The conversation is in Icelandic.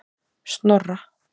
Snorra